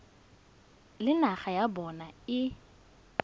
le naga ya bona e